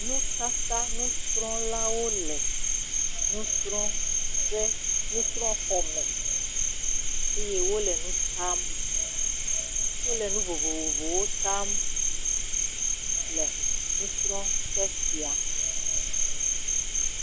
Nutata, nusrɔlawo le nu srɔ ƒe, nusrɔ xɔme, eye wo le nu tam. Wo le nu vovovowo tam, le nusrɔƒe sia.